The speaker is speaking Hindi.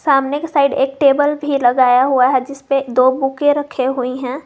सामने के साइड एक टेबल भी लगाया हुआ है जिसपे दो बुके रखे हुई हैं।